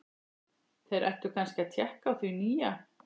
Þeir ættu kannski að tékka á því nýja.